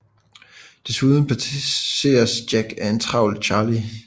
Desuden passeres Jack af en travl Charlie